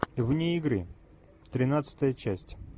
вне игры тринадцатая часть